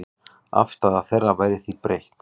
Afstaða þeirra væri því breytt.